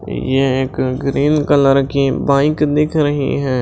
यह एक green colour की बाइक दिख रही है।